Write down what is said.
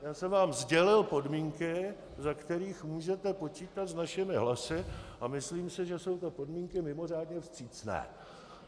Já jsem vám sdělil podmínky, za kterých můžete počítat s našimi hlasy, a myslím si, že jsou to podmínky mimořádně vstřícné.